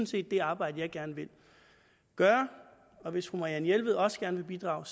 set det arbejde jeg gerne vil gøre og hvis fru marianne jelved også gerne vil bidrage